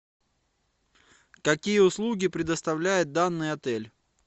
какие услуги предоставляет данный отель